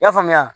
I y'a faamuya